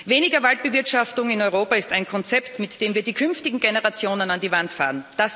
Weniger Waldbewirtschaftung in Europa ist ein Konzept, mit dem wir die künftigen Generationen an die Wand fahren.